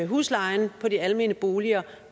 huslejen i de almene boliger